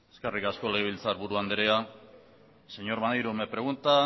eskerrik asko legelbiltzarburu andrea señor maneiro me pregunta